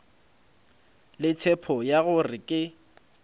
le tshepo ya gore ke